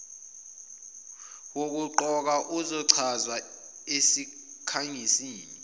wokuqokwa uyochazwa esikhangisini